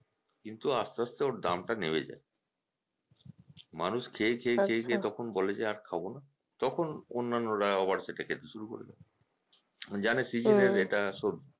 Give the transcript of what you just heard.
কিন্তু আসতে আসতে ওর দামটা নেমে যায় মানুষ খেয়ে খেয়ে খেয়ে খেয়ে তখন বলে যে আর খাবোনা তখন অন্যান্যরা আবার সেটা খেতে শুরু করে দেয় জানে season এর এটা সবজি